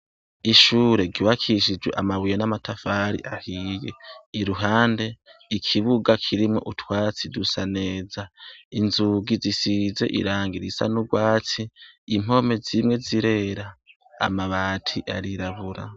Ishure ry'ubakishijwe amabuye n'amatafari ahiye, iruhande ikibuga kirimwo utwatsi dusa neza, inzugi zisize irangi risa n'urwatsi impome zimwe zirera amabati arirabura .